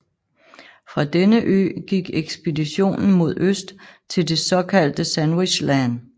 Fra denne ø gik ekspeditionen mod øst til det såkaldte Sandwich Land